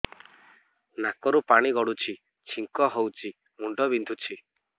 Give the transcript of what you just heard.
ନାକରୁ ପାଣି ଗଡୁଛି ଛିଙ୍କ ହଉଚି ମୁଣ୍ଡ ବିନ୍ଧୁଛି